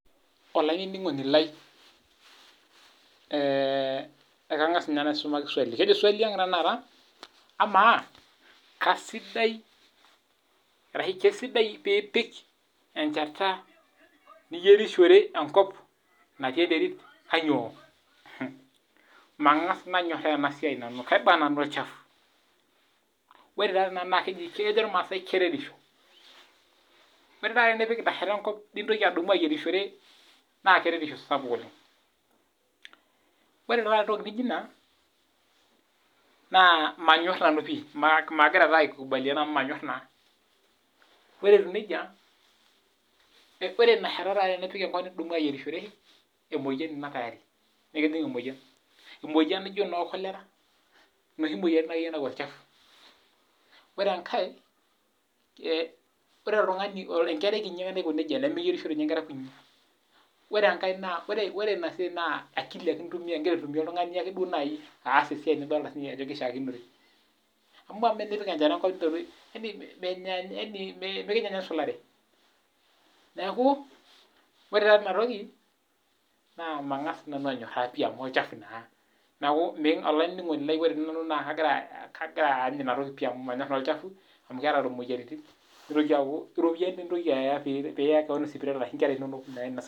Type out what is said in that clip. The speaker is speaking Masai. Olainining'oni lai ekang'as ninye naisumaki swali ekejo swali ang amaa kaisidai pipik enkaka niyierishore enkop natii enterit kainyio mangas nanyoraa nanu karibu nanu olchafu kejo ilmasai keretisho ore enidashaki enkop nintoki adamu ayierishore naa enkereriesho sapuk oleng ore entoki naijio ena manyor nanu pii magira aikubalia amu manyor naa ore etieu nejia ore enashata nipik enkop nintoki ayierishore naa emoyian enaa tayari nikijig emoyian emoyian naijio noo kolera enoshi moyiaritin nayau olchafu]ore enkae ore enkerai kiti ake naiko nejia nemeyierishi Nkera kutiti ore enkae ore ena siai naa akili ake entumia egira aas esiai nifolita Ajo kaisidai ama tenipik enchata enkop mikinyia ninye esulare neeku ore taata en toki mangas nanu anyoraa pii amu olchafu naa neeku olainining'oni lai ore nanu nakagira any enatoki pii amu manyor naa olchafu amu keeta moyiaritin nitoki aku eropiani eyieu peyie eya Nkera sipitali